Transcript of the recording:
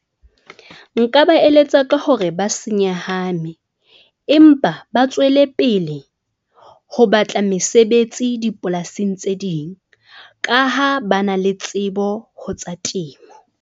Nka ba eletsa ka hore ba se nyahame empa ba tswele pele ho batla mesebetsi dipolasing tse ding. Ka ha ba na le tsebo ho tsa temo.